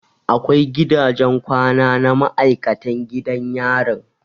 Akwai gidajen kwana na maikatan gidan yarin